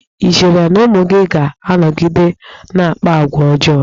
I cheere na ụmụ gị ga-anọgide na-akpa agwa ọjọọ?